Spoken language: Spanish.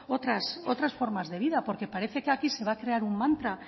otras formas de vida porque parece que aquí se va a crear un mantra